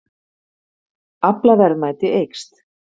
Aflaverðmæti eykst